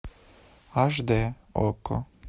аш д окко